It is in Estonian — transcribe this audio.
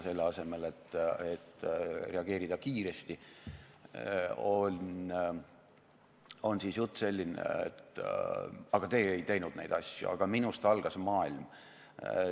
Selle asemel et reageerida kiiresti, on jutt selline: aga teie ei teinud neid asju, minust algas maailm.